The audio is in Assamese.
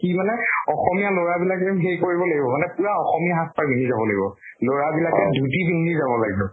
কি মানে অসমীয়া লʼৰা বিলাক যেন সেই কৰিব লাগিব, পুৰা অসমীয়া সাজ পাৰ পিন্ধি যাব লাগিব। লʼৰা বিলাকে ধুতি পিন্ধি যাব লাগিব